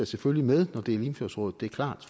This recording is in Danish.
selvfølgelig med når det er limfjordsrådet det er klart